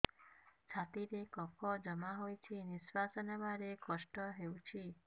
ଛାତିରେ କଫ ଜମା ହୋଇଛି ନିଶ୍ୱାସ ନେବାରେ କଷ୍ଟ ହେଉଛି